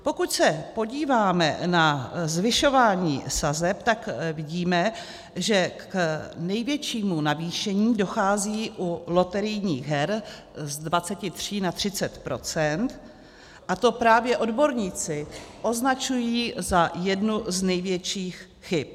Pokud se podíváme na zvyšování sazeb, tak vidíme, že k největšímu navýšení dochází u loterijních her z 23 na 30 %, a to právě odborníci označují za jednu z největších chyb.